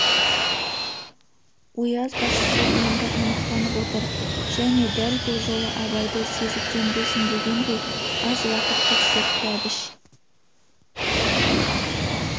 ояз басшысы енді анықтанып отыр және дәл бұл жолы абайды сезіктенбесін дегендей аз-ақ уақыт тексертті әбіш